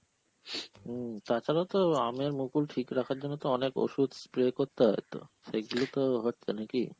হম তাছাড়াও তো আমের মুকুল ঠিক রাখার জন্য তো অনেক ওষুধ spray করতে হয়ত? সেইগুলো তো হচ্ছে নাকি?